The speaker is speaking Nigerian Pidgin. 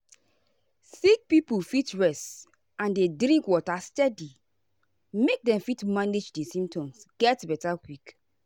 sick pipo fit rest and dey drink water steady make dem fit manage di symptoms get beta quick.